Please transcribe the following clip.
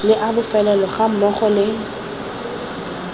le a bofelo gammogo le